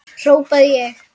hrópaði ég.